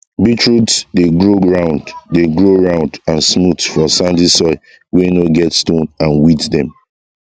beetroot dey grow round dey grow round and smooth for sandy soil wey no get stone and weeds dem